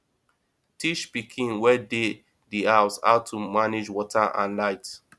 teach pikin wey dey di house how to manage water and light